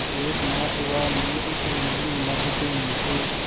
एक मास हुआ मैं इस नील नभ के नीचे